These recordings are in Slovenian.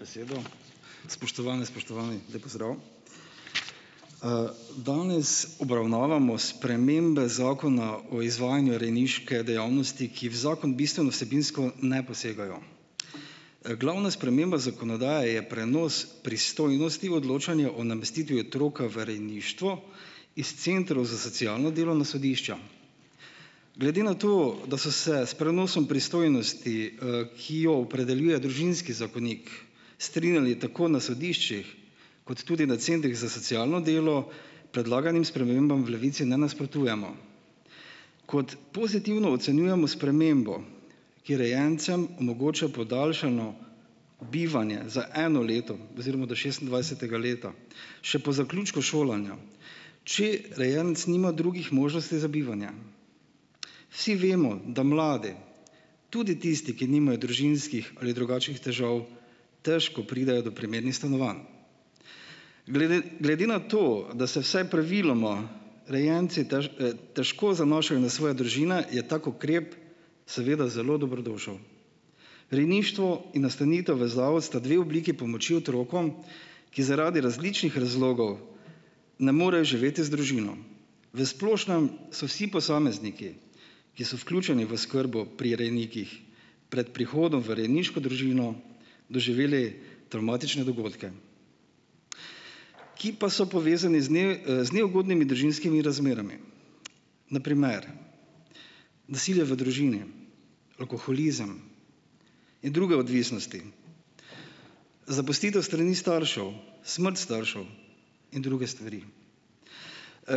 Hvala za besedo. Spoštovane, spoštovani, lep pozdrav. danes obravnavamo spremembe Zakona o izvajanju rejniške dejavnosti, ki v zakon bistveno vsebinsko ne posegajo. Glavna sprememba zakonodaje je prenos pristojnosti o odločanju o namestitvi otroka v rejništvo iz centrov za socialno delo na sodišča. Glede na to, da so se s prenosom pristojnosti, ki jo opredeljuje družinski zakonik, strinjali tako na sodiščih kot tudi na centrih za socialno delo, predlaganim spremembam v Levici ne nasprotujemo. Kot pozitivno ocenjujemo spremembo, ki rejencem omogoča podaljšano bivanje za eno leto oziroma do šestindvajsetega leta. Še po zaključku šolanja, če rejenec nima drugih možnosti za bivanje. Vsi vemo, da mlade, tudi tisti, ki nimajo družinskih ali drugačnih težav, težko pridejo do primernih stanovanj. Glede, glede na to, da se vsaj praviloma rejenci težko zanašajo na svoje družine, je tak ukrep seveda zelo dobrodošel. Rejništvo in nastanitev v zavod sta dve obliki pomoči otrokom, ki zaradi različnih razlogov ne morejo živeti z družino. V splošnem so vsi posamezniki, ki so vključeni v oskrbo pri rejnikih pred prihodom v rejniško družino doživeli travmatične dogodke, ki pa so povezani z z neugodnimi družinskimi razmerami. Na primer: nasilje v družini, alkoholizem in druge odvisnosti, zapustitev s strani staršev, smrt staršev in druge stvari.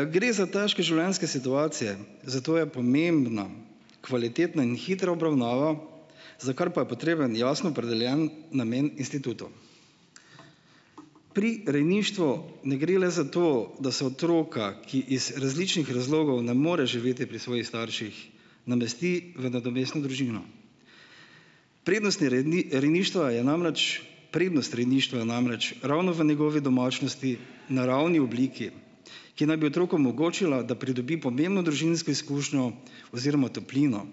gre za težke življenjske situacije, zato je pomembno kvalitetna in hitra obravnava, za kar pa je potreben jasno opredeljen namen institutov. Pri rejništvu ne gre le za to, da se otroka, ki iz različnih razlogov ne more živeti pri svojih starših namesti v nadomestno družino. Prednostni rejništva je namreč, prednost rejništva je namreč ravno v njegovi domačnosti, naravni obliki, ki naj bi otrokom omogočila, da pridobi pomembno družinsko izkušnjo oziroma toplino,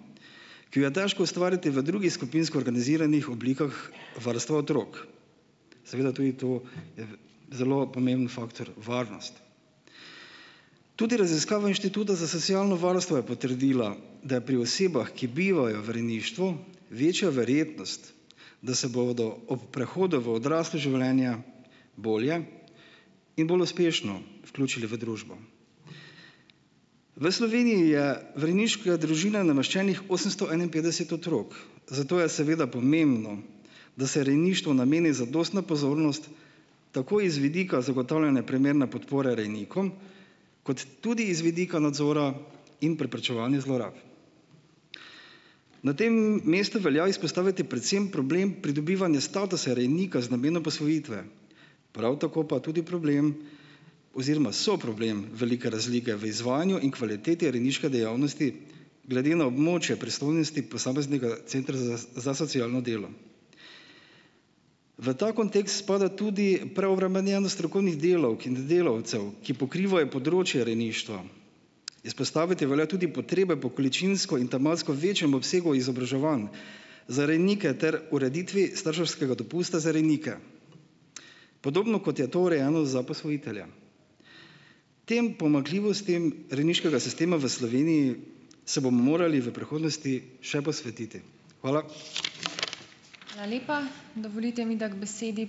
ki jo je težko ustvariti v drugi skupinsko organiziranih oblikah varstva otrok. Seveda tudi to je zelo pomemben faktor, varnost. Tudi raziskava Inštituta za socialno varstvo je potrdila, da je pri osebah, ki bivajo v rejništvu večja verjetnost, da se bodo ob prehodu v odraslo življenje bolje in bolj uspešno vključili v družbo. V Sloveniji je v rejniška družina nameščenih osemsto enainpetdeset otrok, zato je seveda pomembno, da se rejništvu nameni zadostna pozornost, tako iz vidika zagotavljanja primerne podpore rejnikom kot tudi iz vidika nadzora in preprečevanja zlorab. Na tem mestu velja izpostaviti predvsem problem pridobivanja statusa rejnika z namenom posvojitve. Prav tako pa tudi problem oziroma soproblem velike razlike v izvajanju in kvaliteti rejniške dejavnosti, glede na območje pristojnosti posameznega centra za socialno delo. V ta kontekst spada tudi preobremenjenost strokovnih delavk in delavcev, ki pokrivajo področje rejništva. Izpostaviti velja tudi potrebe po količinsko in tematsko večjem obsegu izobraževanj za rejnike ter ureditvi starševskega dopusta za rejnike. Podobno, kot je to urejeno za posvojitelja. Tem pomanjkljivostim rejniškega sistema v Sloveniji se bomo morali v prihodnosti še posvetiti. Hvala. Hvala lepa. Dovolite mi, da k besedi ...